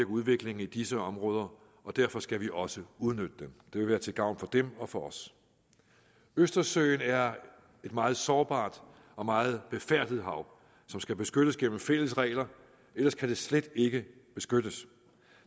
udviklingen i disse områder og derfor skal vi også udnytte dem det vil være til gavn for dem og for os østersøen er et meget sårbart og meget befærdet hav som skal beskyttes gennem fælles regler ellers kan det slet ikke beskyttes